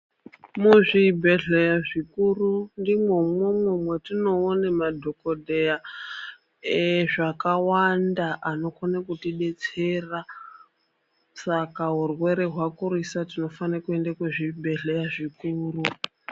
Muzvibhehlera zvikuru ndimwo umwomwo mwetinone madhokodheya ezvakawanda anokone kutidetsera saka urwere hwakurisa tinofane kuenda kuzvibhehlera zvikuru.